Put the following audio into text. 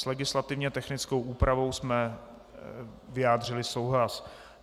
S legislativně technickou úpravou jsme vyjádřili souhlas.